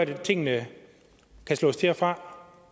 kan tingene slås til og fra